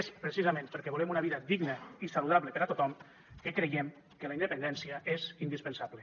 és precisament perquè volem una vida digna i saludable per a tothom que creiem que la independència és indispensable